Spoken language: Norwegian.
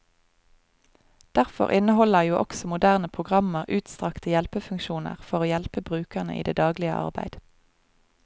Derfor inneholder jo også moderne programmer utstrakte hjelpefunksjoner for å hjelpe brukerne i det daglige arbeid.